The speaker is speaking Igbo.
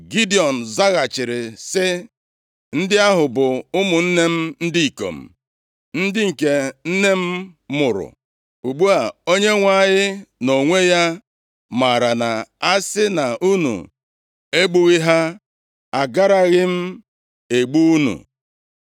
Gidiọn zaghachiri sị, “Ndị ahụ bụ ụmụnne m ndị ikom, ndị nke nne m mụrụ. Ugbu a, Onyenwe anyị nʼonwe ya maara na a sị na unu egbughị ha, agaraghị m egbu unu.”